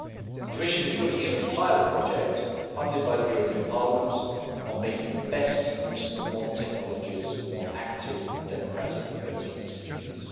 The Commission is looking at a pilot project, funded by the European Parliament, on making the best use of modern technologies for more active and democratic voting procedures.